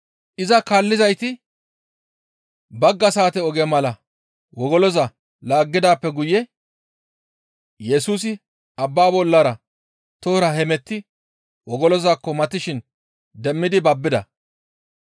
Iza kaallizayti bagga saate oge mala wogoloza laaggidaappe guye Yesusi abbaa bollara tohora hemetti wogolozaakko matishin demmidi babbida.